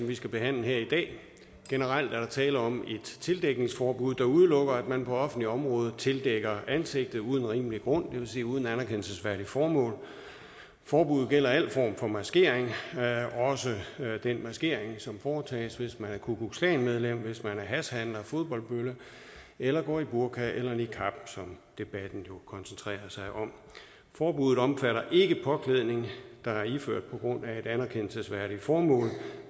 vi skal behandle her i dag generelt er der tale om et tildækningsforbud der udelukker at man på offentlige områder tildækker ansigtet uden rimelig grund det vil sige uden et anerkendelsesværdigt formål forbuddet gælder al form for maskering også den maskering som foretages hvis man er ku klux klan medlem hvis man er hashhandler fodboldbølle eller går i burka eller niqab som debatten jo koncentrerer sig om forbuddet omfatter ikke påklædning der er iført på grund af et anerkendelsesværdigt formål